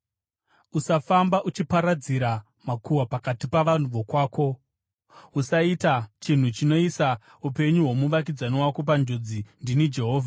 “ ‘Usafamba uchiparadzira makuhwa pakati pavanhu vokwako. “ ‘Usaita chinhu chinoisa upenyu hwomuvakidzani wako panjodzi. Ndini Jehovha.